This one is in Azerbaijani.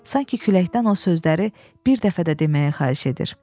Sanki küləkdən o sözləri bir dəfə də deməyə xahiş edir.